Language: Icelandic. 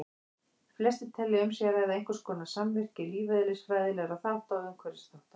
Flestir telja að um sé að ræða einhverskonar samvirkni lífeðlisfræðilegra þátta og umhverfisþátta.